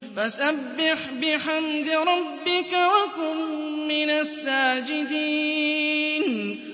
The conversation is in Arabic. فَسَبِّحْ بِحَمْدِ رَبِّكَ وَكُن مِّنَ السَّاجِدِينَ